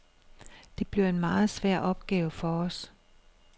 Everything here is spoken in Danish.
Det bliver en meget svær opgave for os.